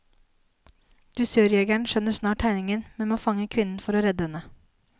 Dusørjegeren skjønner snart tegningen, men må fange kvinnen for å redde henne.